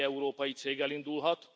Bármely európai cég elindulhat.